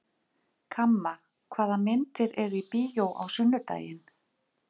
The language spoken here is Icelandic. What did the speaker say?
Kamma, hvaða myndir eru í bíó á sunnudaginn?